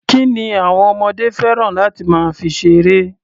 Kí ni àwọn ọmọdé fẹ́ràn láti máa fi ṣeré?